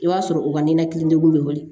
I b'a sɔrɔ u ka ninakili degun bɛ wuli